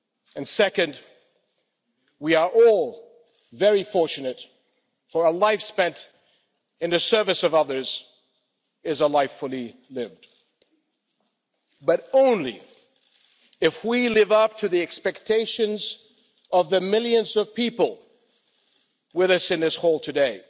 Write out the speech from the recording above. And second, we are all very fortunate, for a life spent in the service of others is a life fully lived but only if we live up to the expectations of the millions of people with us in this hall today.